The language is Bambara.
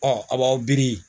Ɔ a b'aw biri